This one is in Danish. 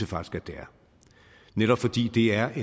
faktisk at det er netop fordi det er